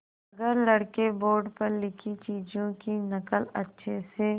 अगर लड़के बोर्ड पर लिखी चीज़ों की नकल अच्छे से